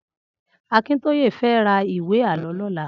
Akintoye fè rà ìwé àlõ lòlà